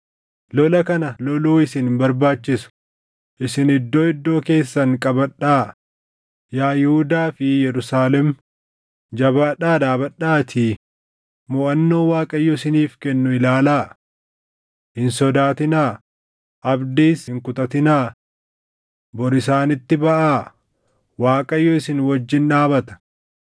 Lola kana loluu isin hin barbaachisu. Isin iddoo iddoo keessan qabadhaa; yaa Yihuudaa fi Yerusaalem jabaadhaa dhaabadhaatii moʼannoo Waaqayyo isiniif kennu ilaalaa. Hin sodaatinaa; abdiis hin kutatinaa. Bor isaanitti baʼaa; Waaqayyo isin wajjin dhaabata.’ ”